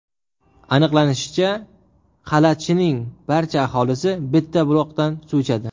Aniqlanishicha, Qalachining barcha aholisi bitta buloqdan suv ichadi.